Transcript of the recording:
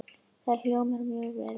Það hljómar mjög vel núna.